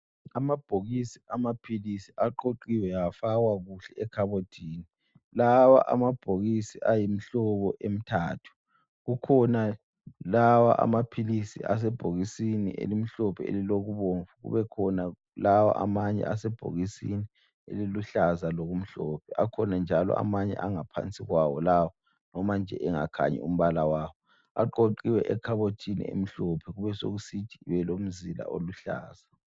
Amabhokisi amaphilisi aqoqiwe afakwa kuhle ekhabothini. Lawa amabhokisi ayimihlobo emithathu, kukhona lawa amaphilisi asebhokisini elimhlophe elilokubomvu kubekhona lawa amanye asebhokisini eliluhlaza lokumhlophe. Akhona njalo amanye angaphansi kwawo lawa loba nje engakhanyi umbala wawo aqoqiwe ekhabothini elimhlophe kubesekuthi ibe lomzila oluhlaza.